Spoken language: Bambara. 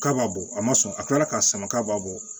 K'a b'a bɔ a ma sɔn a tila k'a sama k'a b'a bɔ